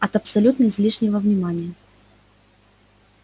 от абсолютно излишнего внимания